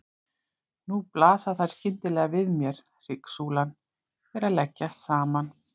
Nú blasa þær skyndilega við mér: Hryggsúlan er að leggjast saman.